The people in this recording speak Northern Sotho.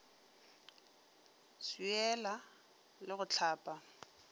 go swiela le go hlapa